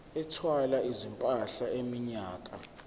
ethwala izimpahla iminyaka